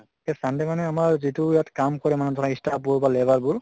সেই sunday মানে যিটো ইয়াত কাম কৰে মানে ধৰা staff বোৰ বা labor বোৰ